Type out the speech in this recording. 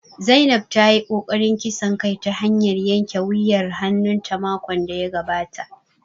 Zainab ta yi ƙoƙarin kisan kai ta hanyar yanke wuyar hannun ta makon da ya gabata